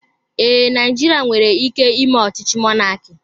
Ee, Naijiria nwere ike ime ọchịchị mọnaki